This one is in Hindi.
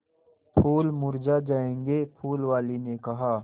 फूल मुरझा जायेंगे फूल वाली ने कहा